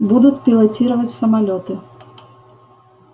буду пилотировать самолёты